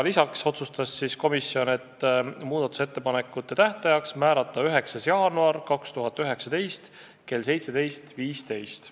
Lisaks otsustas komisjon muudatusettepanekute esitamise tähtajaks määrata 9. jaanuari 2019 kell 17.15.